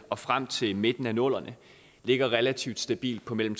og frem til midten af nullerne ligger relativt stabilt på mellem